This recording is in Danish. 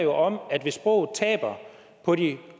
om at hvis sproget taber på de